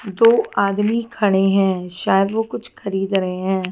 दो आदमी खड़े हैं शायद वो कुछ खरीद रहे हैं।